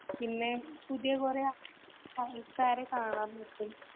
പിന്നെ പുതിയ കുറെ ആൾക്കാരെ കാണാൻ പറ്റും.